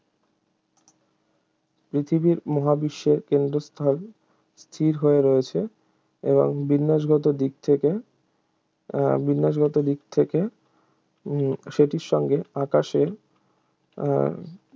পৃথিবী মহাবিশ্বের কেন্দ্রস্থলে স্থির হয়ে রয়েছে এবং বিন্যাসগত দিক থেকে উহ বিন্যাসগত দিক থেকে উম সেটির সঙ্গে আকাশের উহ